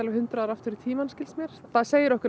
hundrað ár aftur í tímann skilst mér það segir okkur